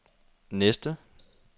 næste